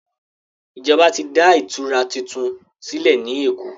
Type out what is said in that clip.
Ìjọba tí dá ìtura títún sílè ní èkó.